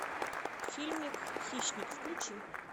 фильмик хищник включи